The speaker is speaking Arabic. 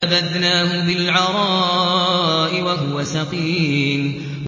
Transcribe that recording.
۞ فَنَبَذْنَاهُ بِالْعَرَاءِ وَهُوَ سَقِيمٌ